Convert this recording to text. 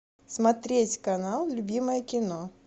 смотреть канал любимое кино